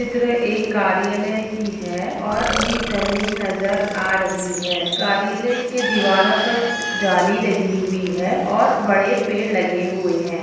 यह चित्र एक कार्यालय की है और खुली जमीन नज़र आ रही है कार्यालय के दिवारो पर जाली लगी हुई है और बड़े पेड़ लगे हुए है।